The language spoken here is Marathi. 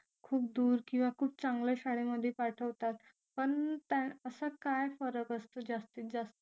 खूप दूर किंवा खूप चांगल्या शाळेमध्ये पाठवतात पण त्या असा काय फरक असतो जास्तीत जास्त